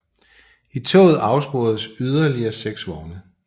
I toget afsporedes yderligere 6 vogne